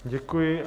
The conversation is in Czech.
Děkuji.